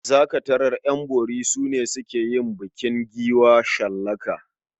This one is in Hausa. Za ka tarar ƴan bori su ke yin bukin giwa shallaka.